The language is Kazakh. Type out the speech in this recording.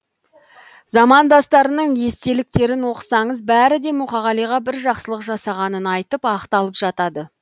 замандастарының естеліктерін оқысаңыз бәрі де мұқағалиға бір жақсылық жасағанын айтып ақталып жатады